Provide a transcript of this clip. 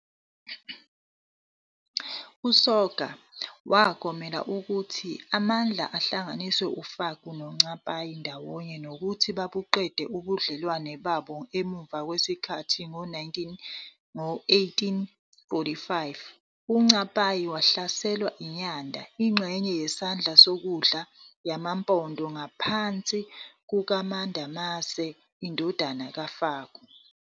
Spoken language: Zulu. Uhlelo lwase-Canada lwe-Canadian Literacy and Learning Network, luchaza izimiso ezingu 7 ezibalulekile ekufundeni kwabantu abadala. Ngamanye amagama, lezi zimiso ezingu 7, zenza umehluko phakathi kokufunda kwabantu abadala kanye nezingane kanye nentsha.